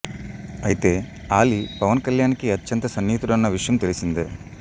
అయితే ఆలీ పవన్ కళ్యాణ్ కి అత్యంత సన్నిహితుడన్న విషయం తెలిసిందే